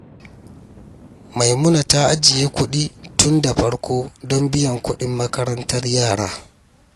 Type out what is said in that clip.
Maimuna ta ajiye kuɗi tun da farko don biyan kuɗin makarantar yara.